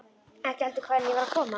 Ekki heldur hvaðan ég var að koma.